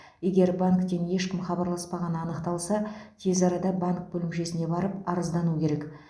егер банктен ешкім хабарласпағаны анықталса тез арада банк бөлімшесіне барып арыздану керек